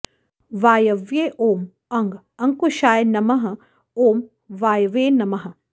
वायव्ये ॐ अं अङ्कुशाय नम ॐ वायवे नमः